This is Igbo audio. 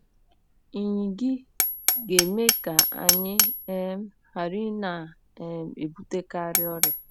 NYỊ GA - EME KA ANYỊ um GHARA ỊNA um - EBUTEKARỊ ỌRỊA